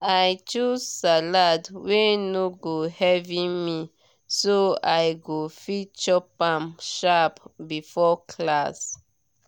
i choose salad wey no go heavy me so i go fit chop am sharp before class.